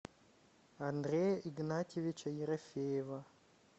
андрея игнатьевича ерофеева